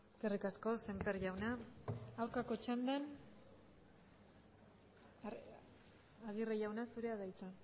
eskerrik asko sémper jauna aurkako txandan aguirre jauna zurea da hitza